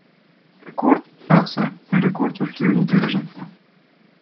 Rekord trase in rekord v številu udeležencev.